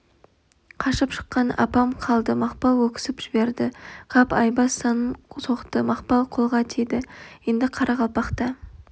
қашып шыққан апам қалды мақпал өксіп жіберді қап айбас санын соқты мақпал қолға тиді енді қарақалпақта